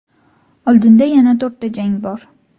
Oldinda yana to‘rtta jang bor.